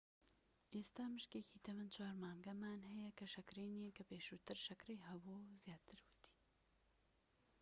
ئێستا مشکێکی تەمەن 4 مانگانەمان هەیە کە شەکرەی نیە کە پێشووتر شەکرەی هەبوو زیاتر ووتی